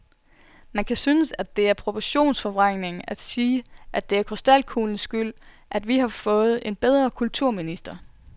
Man kan synes, at det er proportionsforvrængning at sige, at det er krystalkuglens skyld, at vi har fået en bedre kulturminister.